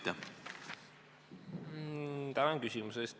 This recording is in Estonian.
Tänan küsimuse eest!